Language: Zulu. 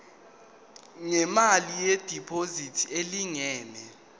ngemali yediphozithi elingana